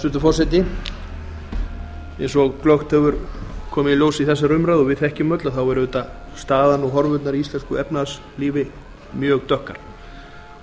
hæstvirtur forseti eins og glöggt hefur komið í ljós í þessari umræðu og við þekkjum öll þá er auðvitað staðan og horfurnar í íslensku efnahagslífi mjög dökkar